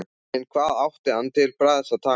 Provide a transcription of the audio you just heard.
En hvað átti hann til bragðs að taka?